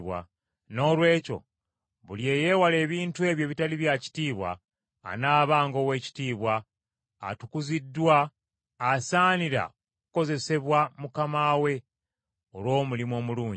Noolwekyo buli eyeewala ebintu ebyo ebitali bya kitiibwa anaabanga ow’ekitiibwa, atukuziddwa, asaanira okukozesebwa mukama we, olw’omulimu omulungi.